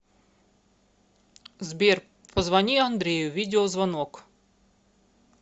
сбер позвони андрею видеозвонок